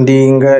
Ndi nga